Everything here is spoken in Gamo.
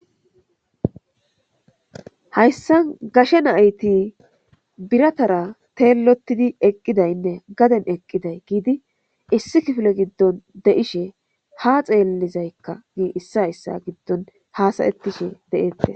Hayssa gashe nayti biratara teellotidi eqqidaynne gaden eqqiday giidi issi kifile giddon de'ishe ha xeellizaykka gi issa issa giddon haasayettishe de'ette